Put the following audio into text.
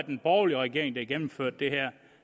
en borgerlig regering der havde gennemført det her